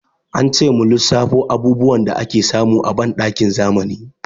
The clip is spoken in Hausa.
Ance mu lissafo abubuwan da ake samu a banɗakin zamani.